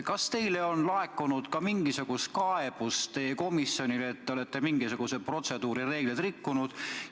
Kas teile on ka komisjonis laekunud mingisuguseid kaebusi selle kohta, et olete protseduurireegleid rikkunud?